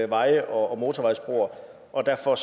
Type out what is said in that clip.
veje og motorvejsbroer og derfor